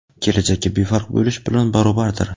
kelajakka befarq bo‘lish bilan barobardir.